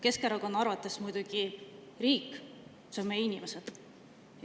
Keskerakonna arvates on riik muidugi meie inimesed.